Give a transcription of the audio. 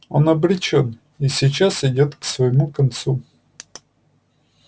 он обречён и сейчас идёт к своему концу